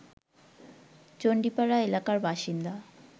চণ্ডীপাড়া এলাকার বাসিন্দা